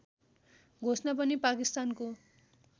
घोषणा पनि पाकिस्तानको